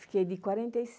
Fiquei de quarenta e